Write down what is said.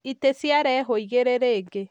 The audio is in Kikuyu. Itĩ ciarehwo igĩrĩ rĩngĩ